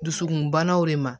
Dusukunbanaw de ma